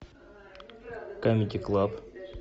камеди клаб